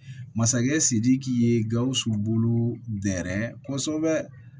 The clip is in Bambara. Masakɛ sidiki ye gawusu bolo dɛrɛ kosɛbɛ